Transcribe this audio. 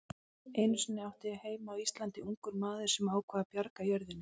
Einu sinni átti heima á Íslandi ungur maður sem ákvað að bjarga jörðinni.